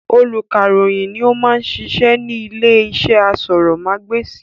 Olùkàròyìn ni ó ma ń sisẹ́ ní ilé iṣẹ́ asọ̀rọ̀mágbèsì